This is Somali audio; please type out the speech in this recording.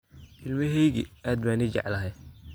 Ilmaheyki caad baa ni jeclahy.